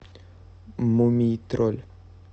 мумий тролль